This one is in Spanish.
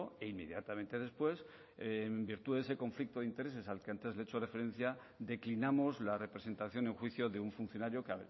e inmediatamente después en virtud de ese conflicto de intereses al que antes le he hecho referencia declinamos la representación en juicio de un funcionario que